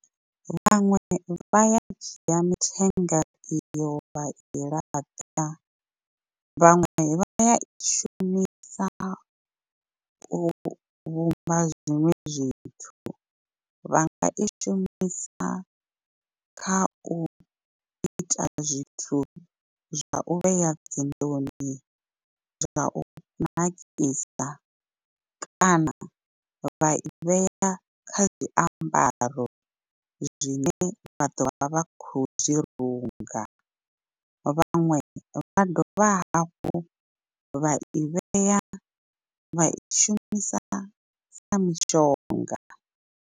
Vhaṅwe vha ya dzhia mithenga iyo vhai laṱa, vhaṅwe vha ya i shumisa u vhumba zwiṅwe zwithu. Vha nga i shumisa kha u ita zwithu zwa u vhea dzinḓuni zwa u nakisa kana vha i vhea kha zwiambaro zwine vha ḓo vha vha khou zwi runga. Vhaṅwe vha dovha hafhu vha i vhea vha i shumisa sa mishonga.